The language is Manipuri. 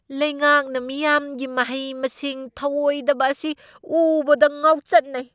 ꯂꯩꯉꯥꯛꯅ ꯃꯤꯌꯥꯝꯒꯤ ꯃꯍꯩ ꯃꯁꯤꯡ ꯊꯧꯑꯣꯢꯗꯕ ꯑꯁꯤ ꯎꯕꯗ ꯉꯥꯎꯆꯠꯅꯩ꯫